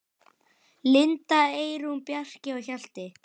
Linda, Eyrún, Bjarki og Hjalti.